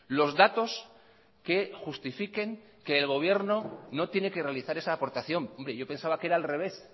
los datos que justifiquen que el gobierno no tiene que realizar esa aportación hombre yo pensaba que era al revés